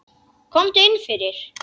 Komdu inn fyrir.